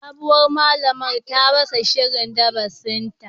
Sabuwar malamar ta rasa shirin darasinta